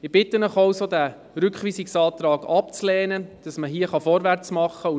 Ich bitte Sie also, den Rückweisungsantrag abzulehnen, damit man hier vorwärtsmachen kann.